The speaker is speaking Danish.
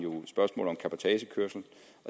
spørgsmålet om cabotagekørsel